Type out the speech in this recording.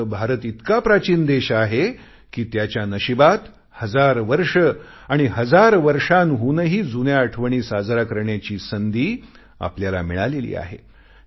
मात्र भारत इतका प्राचीन देश आहे कि त्याच्या नशिबात हजार वर्ष आणि हजार वर्षांहूनही जुन्या आठवणी साजऱ्या करण्याची संधी आपल्याला मिळालेली आहे